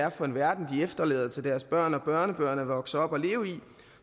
er for en verden de efterlader til deres børn og børnebørn at vokse op og leve i